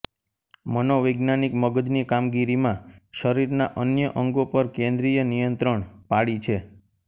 મનોવૈજ્ઞાનિક મગજની કામગીરીમાં શરીરના અન્ય અંગો પર કેન્દ્રિય નિયંત્રણ પાડી છે